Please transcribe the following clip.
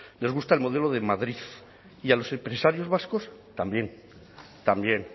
les gusta el modelo de madrid y a los empresarios vascos también también